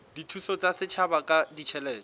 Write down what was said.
dithuso tsa setjhaba ka ditjhelete